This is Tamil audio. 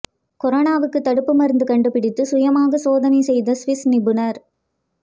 கொரோனாவுக்கு தடுப்பு மருந்து கண்டுபிடித்து சுயமாக சோதனை செய்த சுவிஸ் நிபுணர்